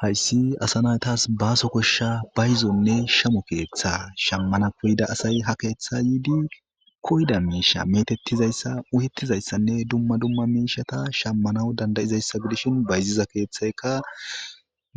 Hassi asanatas baaso koshsha bayzonne shamo keeththa ,shammanappe yida asay koyida miishsha meetettizasa Miishsha uyettiza miishshanne dumma dummata shammanaw danda7izaysa gidishin bayiziza keeththayika